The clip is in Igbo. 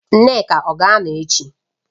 Nneka ọ ga-anọ ya echi?